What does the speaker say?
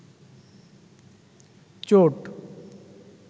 চোট